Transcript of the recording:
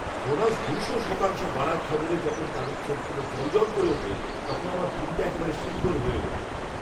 Bonus দুশো শতাংশ বাড়ার খবরে যখন তাদের চোখগুলো জ্বলজ্বল করে ওঠে, তখন আমার দিনটা একেবারে সুন্দর হয়ে ওঠে।